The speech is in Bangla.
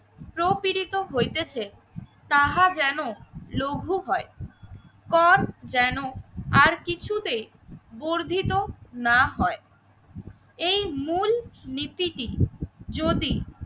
প্রপীড়িত হইতেছে তাহা যেন লঘু হয়। কর যেন আর কিছুতেই বর্ধিত না হয়। এই মূল নীতিটি যদি